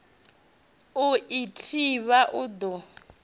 u i thivha u ḓo